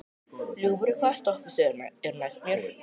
Ljúfur, hvaða stoppistöð er næst mér?